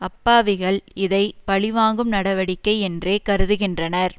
அப்பாவிகள் இதை பழி வாங்கும் நடவடிக்கை என்றே கருதுகின்றனர்